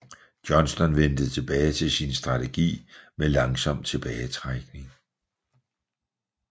Johnston vendte tilbage til sin strategi med langsom tilbagetrækning